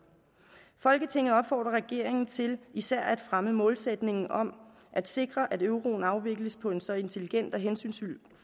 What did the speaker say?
folketinget opfordrer regeringen til især at fremme målsætningen om at sikre at euroen afvikles på en så intelligent og hensynsfuld